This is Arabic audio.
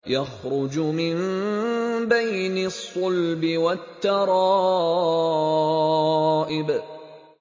يَخْرُجُ مِن بَيْنِ الصُّلْبِ وَالتَّرَائِبِ